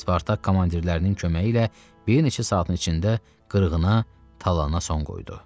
Spartak komandirlərinin köməyi ilə bir neçə saatin içində qırğına, talana son qoydu.